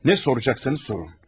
Nə soracaqsınız, sorun.